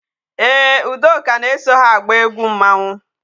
Ee, Udoka na-eso ha agba egwu mmanwu.